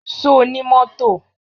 Ṣo ní mọ́tò?